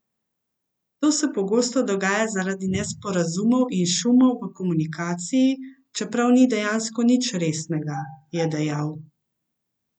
To se pogosto dogaja zaradi nesporazumov in šumov v komunikaciji, čeprav ni dejansko nič resnega, je dejal.